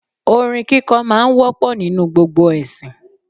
Orin kíkọ́ máa ń wọ́pọ̀ nínú gbogbo ẹ̀sìn